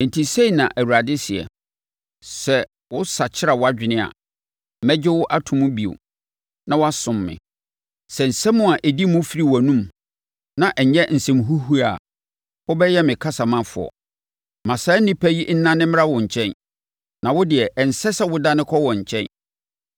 Enti sei na Awurade seɛ, “Sɛ wosakyera wʼadwene a, mɛgye wo ato mu bio na wasom me; sɛ nsɛm a ɛdi mu firi wʼanomu, na ɛnyɛ nsɛm huhuo a, wobɛyɛ me kasamafoɔ. Ma saa nnipa yi nnane mmra wo nkyɛn, na wo deɛ ɛnsɛ sɛ wodane kɔ wɔn nkyɛn.